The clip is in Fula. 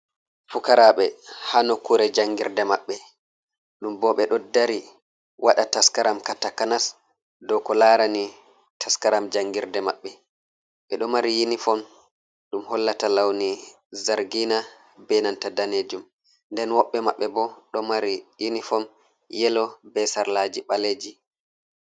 Fukaraɓe ha nokkure janngirde maɓɓe ɗum bo ɓeɗo dari waɗa taskaram ka takanas dow ko larani taskaram janngirde maɓɓe, ɓeɗo mari yunifom ɗum hollata lawni zargina be nanta danejum, nden woɓɓe maɓɓe bo ɗo mari yinifon yelo be sarlaji ɓaleji.